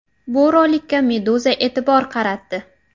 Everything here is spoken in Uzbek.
Bu rolikka Meduza e’tibor qaratdi .